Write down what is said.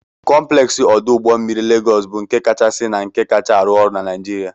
Compleksi odu Ugbo mmiri Legos bụ nke kachasị na nke kacha arụ ọrụ na Nigeria.